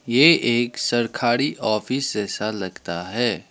ये एक सरखारी ऑफिस जैसा लगता है।